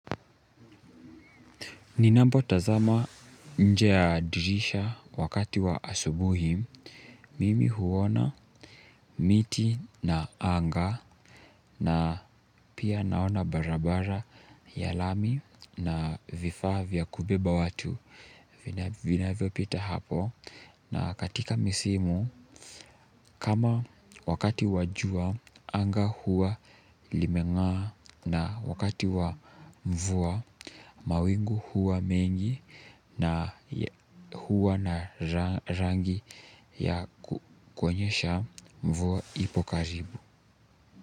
Ninapo tazama nje ya dirisha wakati wa asubuhi, mimi huona miti na anga na pia naona barabara ya lami na vifaa vya kubeba watu. Vinavyopita hapo na katika misimu kama wakati wa jua anga huwa limeng'aa na wakati wa mvua mawingu huwa mengi na huwa na rangi ya kuonyesha mvua ipo karibu.